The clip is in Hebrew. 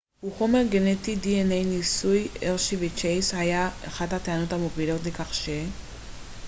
ניסוי הרשי וצ'ייס היה אחת הטענות המובילות לכך ש-dna הוא חומר גנטי